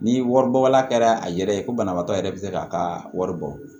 Ni wari bɔ wala kɛra a yɛrɛ ye ko banabaatɔ yɛrɛ bɛ se k'a ka wari bɔ